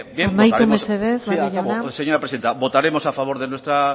bien amaitu mesedez barrio jauna sí acabo señora presidenta votaremos a favor de nuestra